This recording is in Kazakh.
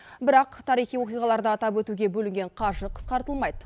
бірақ тарихи оқиғаларда атап өтуге бөлінген қаржы қысқартылмайды